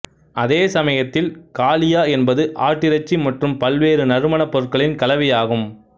அதே சமயத்தில் காலியா என்பது ஆட்டிறைச்சி மற்றும் பல்வேறு நறுமணப்பொருட்களின் கலவையாகும்